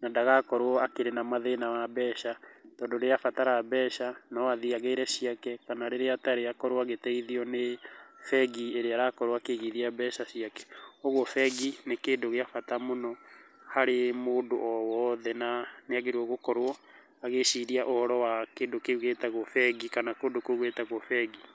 na ndagakorwo akĩrĩ na mathĩna wa mbeca, tondũ rĩrĩa abatara mbeca, no athĩĩ agĩre ciake, kana rĩrĩa atarĩ akorwo agĩteithio nĩ bengi ĩria arakorwo akĩgithia mbeca ciake, ũguo bengi nĩ kĩndũ gĩa bata mũno, harĩ mũndũ o woothe, na nĩ agĩrĩrwo agĩciria ũhoro wa kĩndũ kĩu gĩtagwo bengi, kana kũndũ kou gwĩtagwo bengi.